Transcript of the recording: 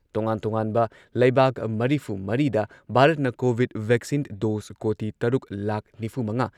ꯇꯣꯉꯥꯟ-ꯇꯣꯉꯥꯟꯕ ꯂꯩꯕꯥꯛ ꯃꯔꯤꯐꯨꯃꯔꯤꯗ ꯚꯥꯔꯠꯅ ꯀꯣꯚꯤꯗ ꯚꯦꯛꯁꯤꯟ ꯗꯣꯁ ꯀꯣꯇꯤ ꯇꯔꯨꯛ ꯂꯥꯈ ꯅꯤꯐꯨꯃꯉꯥ